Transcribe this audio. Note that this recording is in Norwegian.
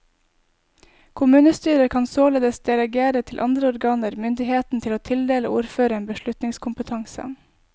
Kommunestyret kan således delegere til andre organer myndigheten til å tildele ordføreren beslutningskompetanse.